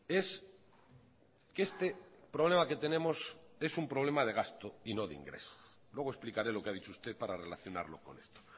es que este problema que tenemos es un problema de gasto y no de ingresos luego explicaré lo que ha dicho usted para relacionarlo con esto